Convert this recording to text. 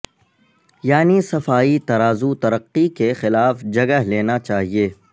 یعنی صفائی ترازو ترقی کے خلاف جگہ لینا چاہئے